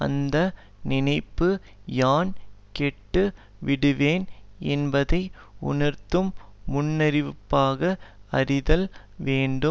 அந்த நினைப்பு யான் கெட்டு விடுவேன் என்பதை உணர்த்தும் முன்னறிவிப்பாக அறிதல் வேண்டும்